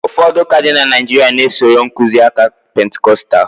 ụfọdụ ụka dị na Naijiria na- esoro nkuzi aka Pentikọstal